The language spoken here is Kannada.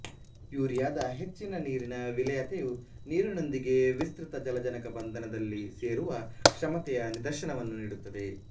ಯೂರಿಯಾದ ಹೆಚ್ಚಿನ ನೀರಿನ ವಿಲೇಯತೆಯು ನೀರಿನೊಂದಿಗೆ ವಿಸ್ತೃತ ಜಲಜನಕ ಬಂಧನದಲ್ಲಿ ಸೇರುವ ಕ್ಷಮತೆಯ ನಿದರ್ಶನವನ್ನು ನೀಡುತ್ತದೆ